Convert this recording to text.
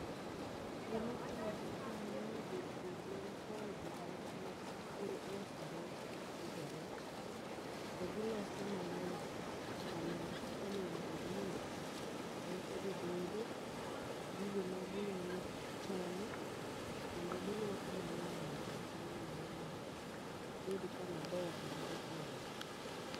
Gima timore kae en ni jopur man kae gi gin mag puro loso rech kendo pidho rech. To giloso maler kama onego bedni rechgo bede, gigo ma ginyalo chamo. Kendo giluoko maler e iye kanyo ero mondo obed kama ber ma rech nyalo donge.